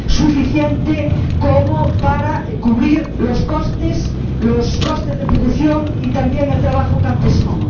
suficiente como para cubrir los costes de producción y también el trabajo campesino.